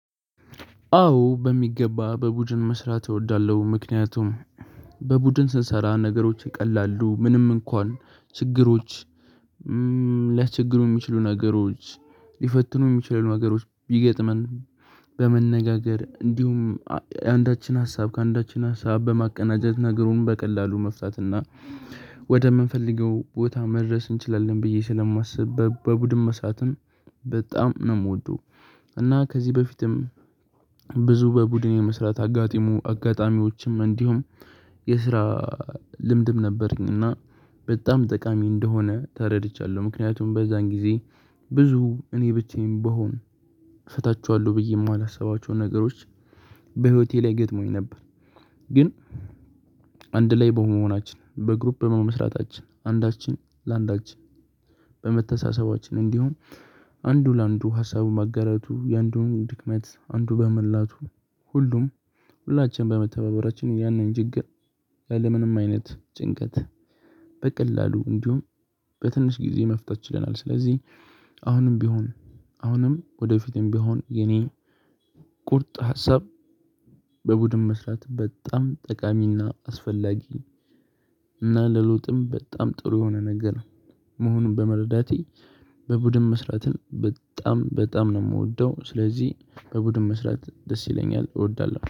አዎ በሚገባ በቡድን መስራት እወዳለሁ ምክንያቱም በቡድን ስንሰራ ነገሮች ይቀላሉ ምንም እንኳን ችግሮች ለችግሩ የሚችሉ ነገሮች ሊፈትኑ የሚችሉ ነገሮች ቢገጥመን በመነጋገር እንዲሁም አንዳችን ሀሳብ ከአንዳችን ሀሳብ በማቀናጀት ነገሩን በቀላሉ መፍታት እና ወደምንፈልገው ቦታ መድረስ እንችላለን ብዬ ስለማስብ በቡድን መሳትም በጣም ነው የምወደው። እና ከዚህ በፊትም ብዙ በቡድኔ መስራት አጋጢሙ አጋጣሚዎችም እንዲሁም የስራ ልምድም ነበረኝ እና በጣም ጠቃሚ እንደሆነ ተረድቻለሁ። ምክንያቱም በዛን ጊዜ ብዙ እኔ ብቻዬን በሆን እሰጣችኋለሁ ብዬ የማላስባቸውን ነገሮች በህይወቴ ላይ ገጥሞኝ ነበር። ግን አንድ ላይ በመሆናችን በግሩፕ በመመስራታችን አንዳችን ለአንዳችን በመተሳሰባችን እንዲሁም አንዱ ለአንዱ ሀሳቡ ማጋራቱ የአንዱን ድክመት አንዱ በመላቱ ሁሉም ሁላችንም በመተባበራችን ያንን ችግር ያለምንም አይነት ጭንቀት በቀላሉ እንዲሁም በትንሽ ጊዜ መፍታት ችለናል። ስለዚህ አሁንም ቢሆን አሁንም ወደፊትም ቢሆን የኔ ቁርጥ ሀሳብ በቡድን መስራት በጣም ጠቃሚና አስፈላጊ እና ለሎጥም በጣም ጥሩ የሆነ ነገር ነው። መሆኑን በመረዳቴ በቡድን መስራትን በጣም በጣም ነው የምወደው ስለዚህ በቡድን መስራት ደስ ይለኛል እወዳለሁ